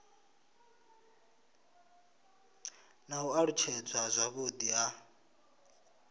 na u alutshedzwa zwavhudi ha